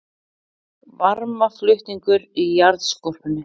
Varmaflutningur í jarðskorpunni